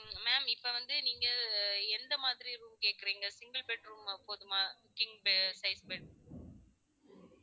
உம் ma'am இப்ப வந்து நீங்க எந்த மாதிரி room கேக்குறீங்க? single bedroom போதுமா king size bed